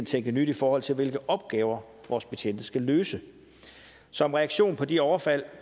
tænke nyt i forhold til hvilke opgaver vores betjente skal løse som reaktion på de overfald